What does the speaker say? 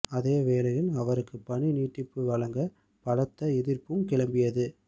அதே வேளையில் அவருக்கு பணி நீட்டிப்பு வழங்க பலத்த எதிர்ப்பும் கிளம்பியது